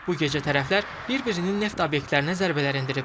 Bu gecə tərəflər bir-birinin neft obyektlərinə zərbələr endirib.